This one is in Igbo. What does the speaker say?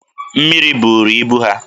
Mmiri buru ibu ha